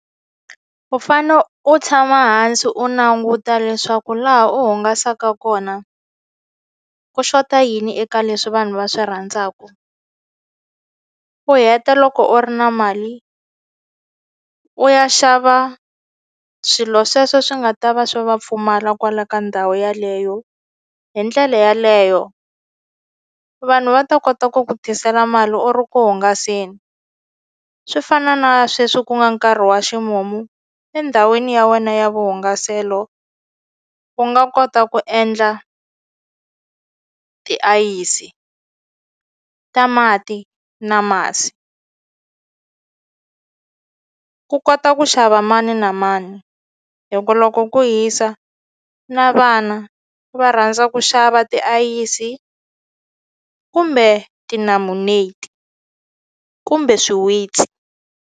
U fane u tshama hansi u languta leswaku laha u hungasaka kona ku xota yini eka leswi vanhu va swi rhandzaku u heta loko u ri na mali u ya xava swilo sweswo swi nga ta va swi va pfumala kwala ka ndhawu yaleyo hi ndlela yaleyo vanhu va ta kota ku ku tisela mali u ri ku hungaseni swi fana na sweswi ku nga nkarhi wa ximumu endhawini ya wena ya vuhungaselo u nga kota ku endla tiayisi ta mati na masi ku kota ku xava mani na mani hi ku loko ku hisa na vana va rhandza ku xava tiayisi kumbe tinamuneti kumbe swiwitsi.